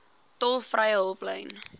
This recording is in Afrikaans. tolvrye hulplyn